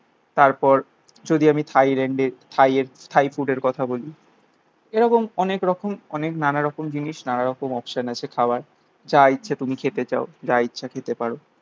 তারপর যদি আমি থাইল্যান্ডের থাইয়ের থাই ফুডের কথা বলি. এরকম অনেক রকম অনেক নানারকম জিনিস, নানা রকম অপশন আছে খাবার. যা ইচ্ছে তুমি খেতে চাও. যা ইচ্ছা খেতে পারো.